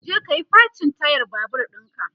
je kayi facin tayar Babur ɗinka!